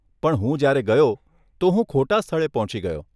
પણ હું જયારે ગયો, તો હું ખોટા સ્થળે પહોંચી ગયો.